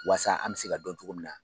Wasa an bɛ se ka dɔn cogo min na.